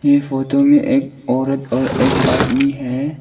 ये फोटो में एक औरत और एक आदमी हैं।